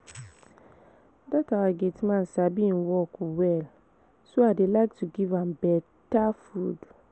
Dat our gate man sabi im work well so I dey like to give am beta food